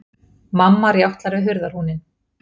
Mamma rjátlar við hurðarhúninn.